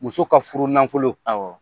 Muso ka furu nanfolo, awɔ.